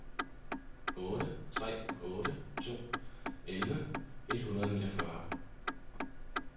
otte tre otte to elleve et hundrede og niogfyrre